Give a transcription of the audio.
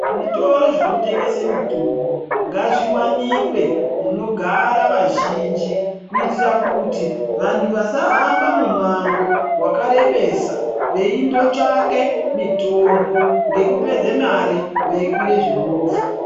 Zvitoro zvinotengese mitombo ngazviwanikwe munogara vazhinji, kuitira kuti vantu vasahamba mumango wakarebesa veindotsvake mitombo ngekupedze mare veikwire movha.